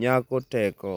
nyako teko?